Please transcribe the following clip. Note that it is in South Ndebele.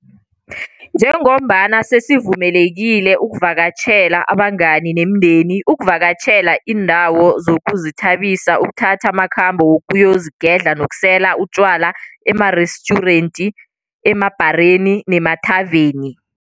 Njengombana sesivumelekile ukuvakatjhela abangani nemindeni, ukuvakatjhela iindawo zokuzithabisa, ukuthatha amakhambo wokuyozigedla nokusela utjwala emarestjurenti, emabhareni nemathaveni.